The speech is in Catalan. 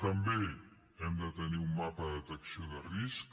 també hem de tenir un mapa de detecció de risc